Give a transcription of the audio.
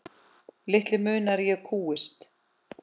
Litlu munar að ég kúgist.